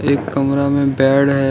एक कमरा में बेड है।